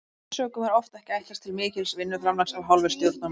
Af þessum sökum er oft ekki ætlast til mikils vinnuframlags af hálfu stjórnarmanna.